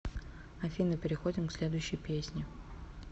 афина переходим к следующей песни